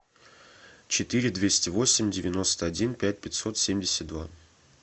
четыре двести восемь девяносто один пять пятьсот семьдесят два